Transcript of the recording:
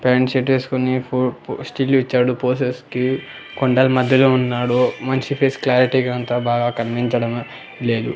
Rain shirt ఎస్కొని ఫో పో స్టిల్ ఇచ్చాడు పొసెస్ కి కొండల్ మధ్యలో ఉన్నాడు మన్షి ఫేస్ క్లారిటీగా అంతా బాగా కనిపించడం లేదు.